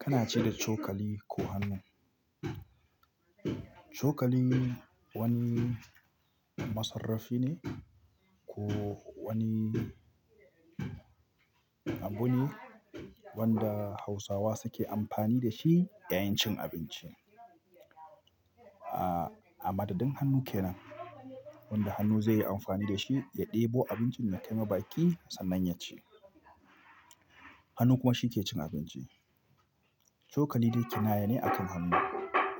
Kana ci da cokali ko hannu. Cokali wani masarrafi ne ko wani abu ne wanda Hausawa suke amfani da shi yayin cin abinci. Amma dadan hannu kenan wanda hannu zai yi amfani da shi ya ɗebo abincin da kai ma baki sannan ya ci. Hannu kuma shi ke cin abinci. Cokali dai kinaya ne akan hannu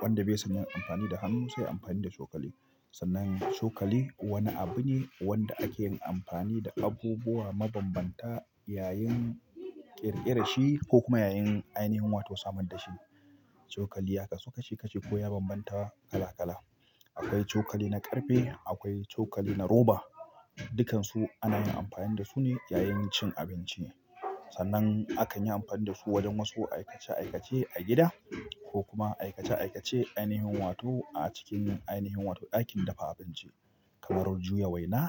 wanda bai son yayi amfani da hannu sai yayi amfani da cokali. Sannan cokali wani abu ne wanda ake yin amfani da abubuwa mabanbanta yayin ƙirƙirar shi ko kuma yayin ainihin wato samar da shi. Cokali ya kasu kashi-kashi ko ya bambanta kala kala. Akwai cokali na ƙarfe, akwai cokali na roba. Dukansu ana yin amfani da su ne yayin cin abinci. Sannan akan yi amfani da su wajen wasu aikace-aikace a gida ko kuma aikace-aikace ainihin wato a cikin ainihin wato ɗakin dafa abinci kamar juya waina.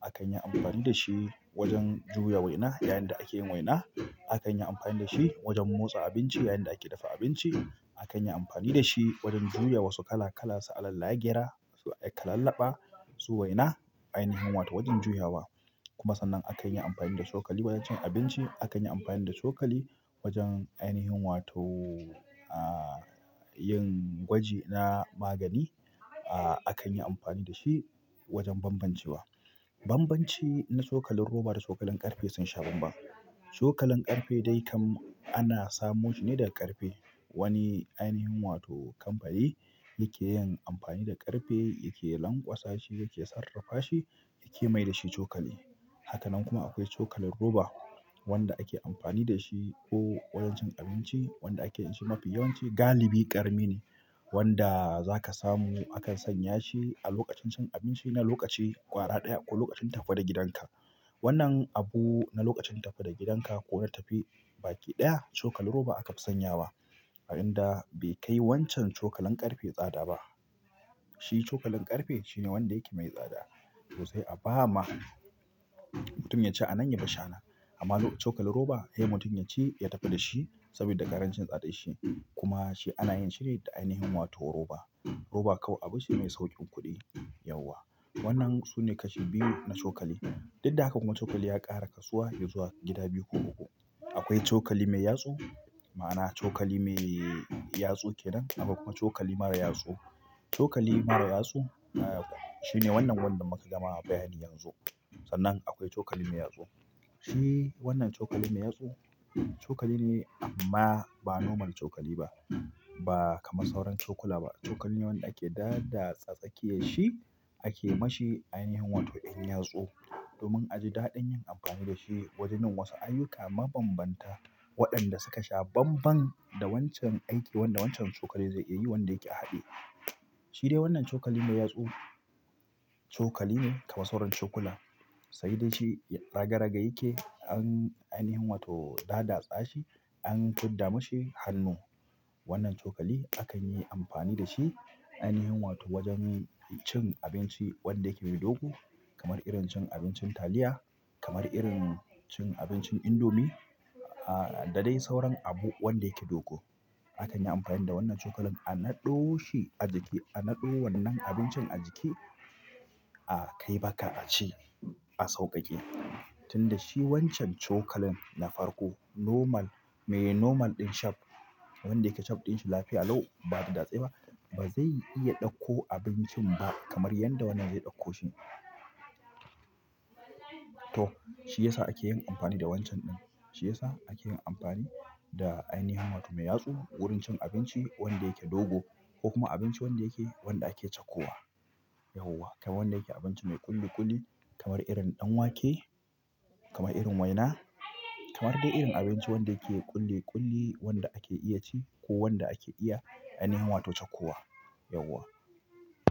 Akan yi amfani da shi wajen juya waina yayinda ake yin waina. Akan yi amfani da shi wajen motsa abinci yayinda ake dafa abinci. Akan yi amfani da shi wajen juya wasu kala-kala su alalan lagyera su kalallaɓa su waina ainihin wato wajen juyawa. Kuma sannan akan yi amfani da cokali wajen cin abinci. Akan yi amfani da cokali wajen ainihin wato, ah, yin gwaji na magani. Ah, akan yi amfani da shi wajen banbancewa. Banbanci na cokalin roba da cokalin ƙarfe sun sha banban. Cokalin ƙarfe dai kam ana samo shi ne daga ƙarfe. Wani ainihin wato kamfani yake yin amfani da ƙarfe yake lanƙwasa shi yake sarrafa shi yake mai da shi cokali. Haka nan kuma akwai cokalin roba wanda ake amfani da shi ko wajen cin abinci wanda ake ci mafi yawanci galibi ƙarami ne wanda za ka samu akan sanya shi a lokacin cin abinci na lokaci ƙwara ɗaya ko lokacin tafi daga gidanka. Wannan abu na lokacin tafi da gidanka ko na tafiya baki ɗaya cokalin roba aka fi sanya wa. A inda bai kai wancan cokalin ƙarfe tsada ba. Shi cokalin ƙarfe shine wanda yake mai tsada to sai a ba ma mutum yaci a nan ya bashi anan. Amma cokalin roba mutum sai yaci ya tafi da shi sabida ƙarancin tsadar shi kuma shi ana yin shi ne da ainihin roba roba kuma tsadar shi mai sauƙin kuɗi. Yauwa. Wannan su ne kashi biyu na cokali. Duk da haka kuma cokali ya ƙara kasuwa zuwa gida biyu ko uku akwaii cokali mai yatsu ma'ana cokali mai yatsu kenan kwai cokali kuma mara yatsu. Cokali mara yatsu shine wannan wanda muka gama bayani yanzu. Sannan akwai cokali mai yatsu. Shi wannan cokali mai yatsu cokali ne amma ba normal cokali ba. Ba kamar sauran cokula ba. Cokali ne wanda ake daba tsakiyar shi ake ma shi ainihin wato in yatsu domin a ji daɗin yin amfani da shi wajen yin wasu ayyuka mabanbanta waɗanda suka sha banban da wancan aikin wanda wancan cokali zai iya yi wanda yake haɗe. Shi dai wannan cokali mai yatsu cokali ne kamar sauran cokula. Sai dai shi raga raga yake an ainihin wato tsaga tsashi an fidda mashi hannu. Wannan cokali akan yi amfani da shi ainihin wato wajen cin abinci wanda yake mai dogo kamar irin cin abincin taliya, kamar irin cin abincin indomi, ah, da dai sauran abu wanda yake dogo. Akan yi amfani da wannan cokalin a naɗo shi a jiki a naɗo wannan abincin a jiki a kai baka a ci a sauƙaƙe. Tunda shi wancan cokalin na farko normal, mai normal ɗin shape wanda shape ɗin shi yake lpia lau ba datse-datse ba, ba zai iya ɗakko abincin ba kamar yadda wannan zai ɗakko shi to shi ya sa ake yin amfani da wancan ɗin. Shi ya sa ake yin amfani da ainihin wato mai yatsu wurin cin abinci wanda yake dogo ko kuma abinci wanda yake wanda ake cako wa. Yauwa. Kamar wannan yake abinci mai ƙulli-ƙulli kamar irin ɗanwake, kamar irin waina, kamar dai irin abinci wanda yake ƙulli-ƙulli wanda ake iya ci ko wanda ake iya ainihin wato cako wa. Yauwa.